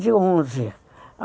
De onze.